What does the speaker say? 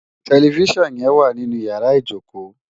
Tèlèfisán yèn wá ninú iyàrá ijókó